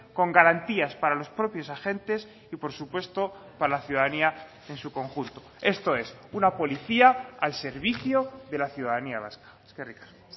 con garantías para los propios agentes y por supuesto para la ciudadanía en su conjunto esto es una policía al servicio de la ciudadanía vasca eskerrik asko